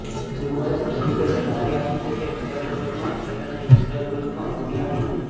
બુધવારે ફેસબુકે જાણકારી આપી છે કે બીજા ક્વોર્ટરમાં સેલ અને યૂઝર ગ્રોથમાં કમી આવી છે